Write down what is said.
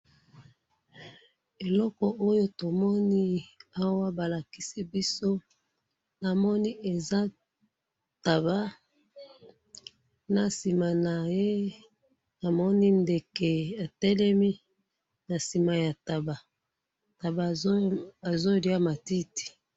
eloko oyo tomoni awa balakisibiso namoni eza taba nasimanaye namoni ndeke etelemi nasima yataba taba azoliya matiti